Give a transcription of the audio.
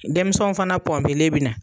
Denmisɛnw fana pɔnpelen be na